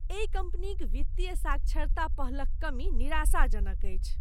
एहि कम्पनीक वित्तीय साक्षरता पहलक कमी निराशाजनक अछि।